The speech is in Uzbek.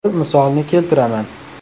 Bir misolni keltiraman.